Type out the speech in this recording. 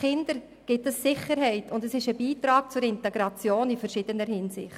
Den Kindern gibt es Sicherheit, und es ist ein Beitrag zur Integration in verschiedenster Hinsicht.